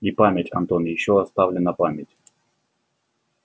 и память антон ещё оставлена память